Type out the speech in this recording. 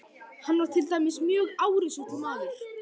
Hann var til dæmis mjög árrisull maður.